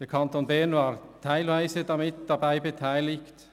Der Kanton Bern war teilweise daran beteiligt.